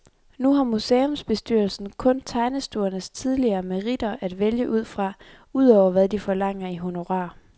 Nu har museumsbestyrelsen kun tegnestuernes tidligere meritter at vælge ud fra, udover hvad de forlanger i honorar.